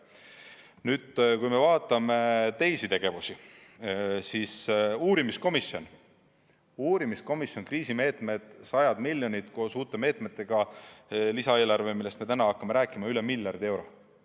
Nüüd, kui me vaatame teisi tegevusi uurimiskomisjonis: kriisimeetmed, sajad miljonid koos uute meetmetega, lisaeelarve, millest me täna hakkame rääkima, kokku üle miljardi euro.